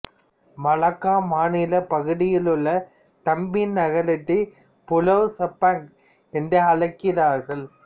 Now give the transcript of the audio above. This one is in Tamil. மலாக்கா மாநிலப் பகுதியில் உள்ள தம்பின் நகரத்தை புலாவ் செபாங் என்று அழைக்கிறார்கள்